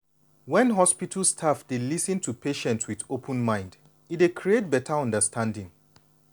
when hospital staff dey lis ten to patient with open mind e dey create beta understanding.